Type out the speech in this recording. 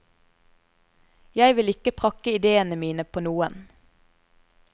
Jeg vil ikke prakke idéene mine på noen.